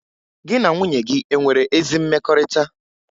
Gị na nwunye gị e nwere ezi mmekọrịta?